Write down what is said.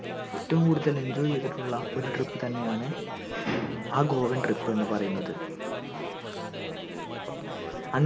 ഏറ്റവും കൂടുതൽ enjoy യ്തിട്ടുള്ള ഒരു trip തന്നെയാണ് ആ govan trip എന്ന് പറയുതന്നത്